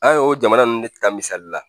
An ye o jamana ninnu de ta misali la